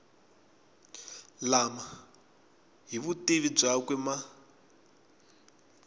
lama hi vutivi byakwe ma